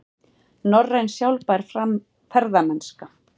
Norræn sjálfbær ferðamennska